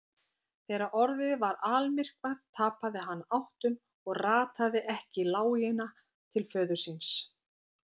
Þegar orðið var almyrkvað tapaði hann áttum og rataði ekki í lágina til föður síns.